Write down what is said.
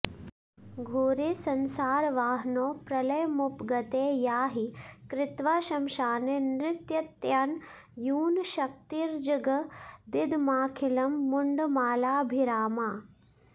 घोरे संसारवह्नौ प्रलयमुपगते या हि कृत्वा श्मशाने नृत्यत्यन्यूनशक्तिर्जगदिदमखिलं मुण्डमालाभिरामा